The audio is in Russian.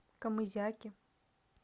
камызяке